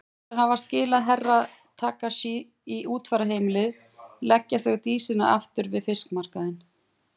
Eftir að hafa skilað Herra Takashi á útfararheimilið leggja þau Dísinni aftur við fiskmarkaðinn.